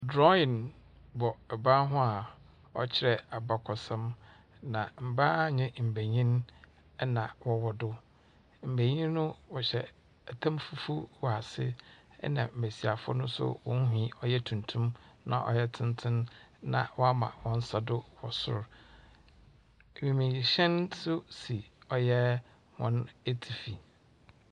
Drɔwin bɔ ɛban ho a ɔkyerɛ abakɔsɛm. Na mmbaa nye mbanyin ɛna wɔwɔ do. Mmbanyin no wɔhyɛ ɛtam fufuw wɔ ase, ɛna mmbesiafo no wɔn tsir nwi ɔyɛ tuntum, na ɔyɛ tsentsen. Na wama wɔnsa do wɔ sor. Ewiemhyɛn nso si wɔn etsifi.